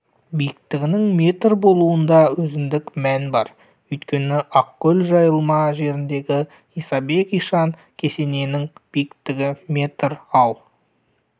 биіктігінің метр болуында өзіндік мән бар өйткені ақкөл-жайылма жеріндегі исабек ишан кесенесінің биіктігі метр ал